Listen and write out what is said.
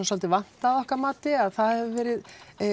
svolítið vantað að okkar mati að það hefur verið